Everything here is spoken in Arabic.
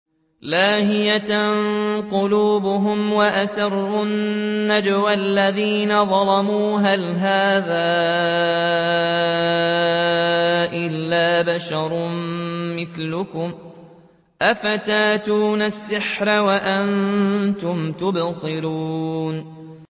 لَاهِيَةً قُلُوبُهُمْ ۗ وَأَسَرُّوا النَّجْوَى الَّذِينَ ظَلَمُوا هَلْ هَٰذَا إِلَّا بَشَرٌ مِّثْلُكُمْ ۖ أَفَتَأْتُونَ السِّحْرَ وَأَنتُمْ تُبْصِرُونَ